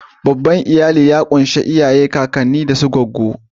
Babban iyali ya kunshi iyaye, kakanni, kawo da su gwaggo.